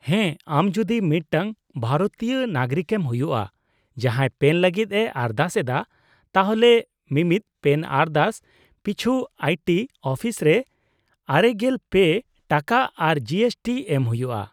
-ᱦᱮᱸ ᱟᱢ ᱡᱩᱫᱤ ᱢᱤᱫᱴᱟᱝ ᱵᱷᱟᱨᱚᱛᱤᱭᱟᱹ ᱱᱟᱜᱚᱨᱤᱠᱮᱢ ᱦᱩᱭᱩᱜᱼᱟ, ᱡᱟᱦᱟᱸᱭ ᱯᱮᱱ ᱞᱟᱹᱜᱤᱫᱼᱮ ᱟᱨᱫᱟᱥ ᱮᱫᱟ, ᱛᱟᱦᱚᱞᱮ ᱢᱤᱢᱤᱫ ᱯᱮᱱ ᱟᱨᱫᱟᱥ ᱯᱤᱪᱷᱩ ᱟᱭᱴᱤ ᱚᱯᱷᱤᱥ ᱨᱮ ᱙᱓ ᱴᱟᱠᱟ ᱟᱨ ᱡᱤᱮᱥᱴᱤ ᱮᱢ ᱦᱩᱭᱩᱜᱼᱟ ᱾